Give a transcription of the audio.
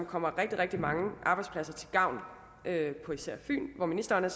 komme rigtig rigtig mange arbejdspladser til gavn på især fyn hvor ministeren